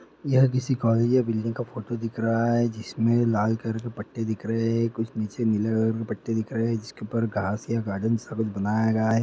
यह किसी कॉलेज या बिल्डिंग का फोटो दिख रहा है जिसमें लाल कलर के पटटे दिख रहे है कुछ नीचे नीले कलर के पट्टे दिख रहे है इसके ऊपर घास या गार्डन बनाया गया है।